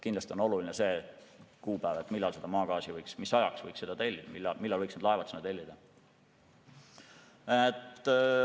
Kindlasti on oluline kuupäev, mis tähtajaks maagaasi võiks tellida, millal võiks need laevad sinna tellida.